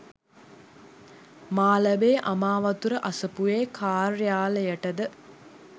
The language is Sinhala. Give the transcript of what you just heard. මාලඹේ අමාවතුර අසපුවේ කාර්යාලයට ද